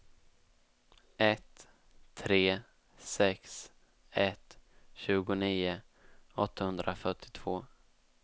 ett tre sex ett tjugonio åttahundrafyrtiotvå